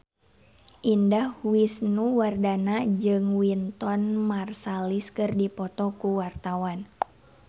Indah Wisnuwardana jeung Wynton Marsalis keur dipoto ku wartawan